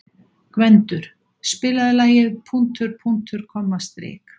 Gvendur, spilaðu lagið „Punktur, punktur, komma, strik“.